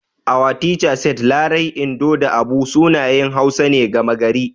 Our teacher said Larai, Indo da Abu sunayen Hausa ne gama gari.